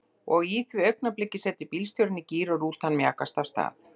Og á því augnabliki setur bílstjórinn í gír og rútan mjakast af stað.